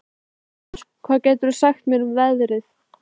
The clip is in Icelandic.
Sveinrós, hvað geturðu sagt mér um veðrið?